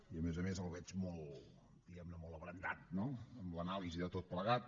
i a més a més el veig molt diguem ne abrandat no amb l’anàlisi de tot plegat